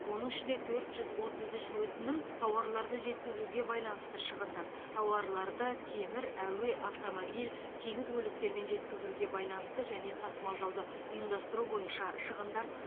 оның ішінде төрт жүз отыз үш өтінім тауарларды жеткізуге байланысты шығындар тауарларды темір әуе автомобиль теңіз көліктерімен жеткізуге байланысты және тасымалдауды ұйымдастыру бойынша шығындар